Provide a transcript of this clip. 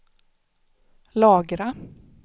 lagra